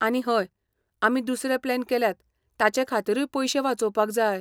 आनी हय, आमी दुसरे प्लॅन केल्यात ताचे खातीरूय पयशे वाचोवपाक जाय.